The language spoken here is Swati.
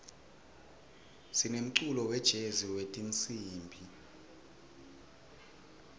sinemculo wejezi wetinsimbi